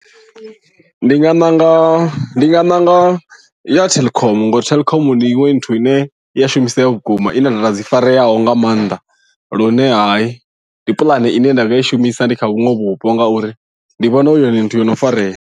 Ndi nga ṋanga ndi nga ṋanga ya Telkom ngori Telkom ndi iṅwe nthu ine ya shumisea vhukuma i na data dzi fareaho nga maanḓa lune hayi ndi puḽane ine nda nga i shumisa ndi kha vhuṅwe vhupo ngauri ndi vhona hu yone nthu yo no farea.